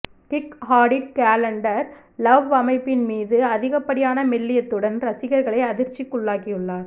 kick Hadid calendar love அமைப்பின் மீது அதிகப்படியான மெல்லியத்துடன் ரசிகர்களை அதிர்ச்சிக்குள்ளாக்கியுள்ளார்